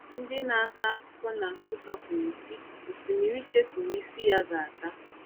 Ndị na-akọ akụkọ na Nsukka kwuru sị, Osimiri chefuru isi iyi ya ga-ata.”